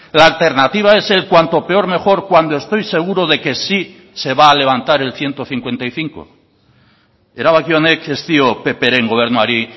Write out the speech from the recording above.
la alternativa es el cuanto peor mejor cuando estoy seguro de que sí se va a levantar el ciento cincuenta y cinco erabaki honek ez dio ppren gobernuari